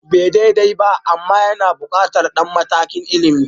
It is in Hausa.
Ba daidai ba amma yana buƙatar ɗan matakin ilimi